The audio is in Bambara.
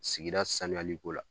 Sigida sanuyaliko la